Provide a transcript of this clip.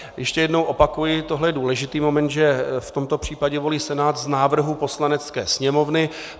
Ještě jednou opakuji, tohle je důležitý moment, že v tomto případě volí Senát z návrhu Poslanecké sněmovny.